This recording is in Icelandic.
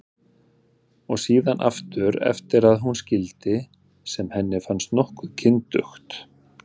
Og síðan aftur eftir að hún skildi, sem henni fannst nokkuð kyndugt.